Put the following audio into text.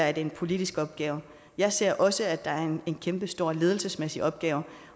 er en politisk opgave jeg ser også at der er en kæmpestor ledelsesmæssig opgave